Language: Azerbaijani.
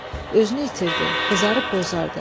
Özünü itirdi, qızarıb bozardı.